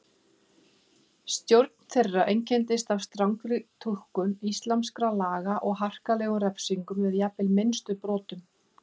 Stjórn þeirra einkenndist af strangri túlkun íslamskra laga og harkalegum refsingum við jafnvel minnstu brotum.